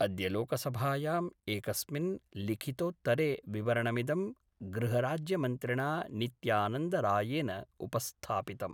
अद्य लोकसभायाम् एकस्मिन् लिखित्तोत्तरे विवरणमिदं गृहराज्यमन्त्रिणा नित्यानन्दरॉयेन उपस्थापितम्।